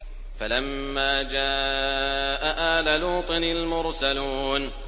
فَلَمَّا جَاءَ آلَ لُوطٍ الْمُرْسَلُونَ